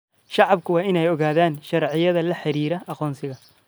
Shacabku waa in ay ogaadaan sharciyada la xiriira aqoonsiga.